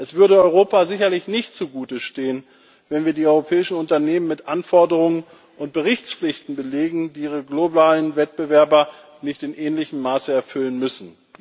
Es würde Europa sicherlich nicht gut zu Gesicht stehen, wenn wir die europäischen Unternehmen mit Anforderungen und Berichtspflichten belegen, die ihre globalen Wettbewerber nicht in ähnlichem Maße erfüllen müssen.